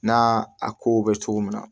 Na a kow bɛ cogo min na